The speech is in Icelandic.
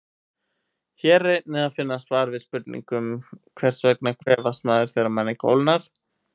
Hér er einnig að finna svar við spurningunum: Hvers vegna kvefast maður þegar manni kólnar?